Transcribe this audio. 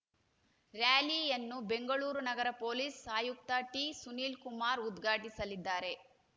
ರ‍್ಯಾಲಿಯನ್ನು ಬೆಂಗಳೂರು ನಗರ ಪೊಲೀಸ್‌ ಆಯುಕ್ತ ಟಿಸುನೀಲ್‌ಕುಮಾರ್‌ ಉದ್ಘಾಟಿಸಲಿದ್ದಾರೆ